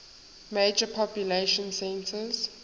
major population centers